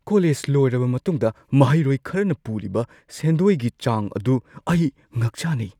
College ꯂꯣꯏꯔꯕ ꯃꯇꯨꯡꯗ ꯃꯍꯩꯔꯣꯏ ꯈꯔꯅ ꯄꯨꯔꯤꯕ ꯁꯦꯟꯗꯣꯏꯒꯤ ꯆꯥꯡ ꯑꯗꯨ ꯑꯩ ꯉꯛꯆꯥꯅꯩ ꯫